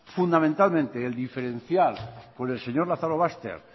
fundamentalmente el diferencial con el señor lazarobaster